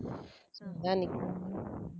அதான் இன்னைக்கு